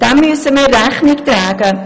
Dem müssen wir Rechnung tragen.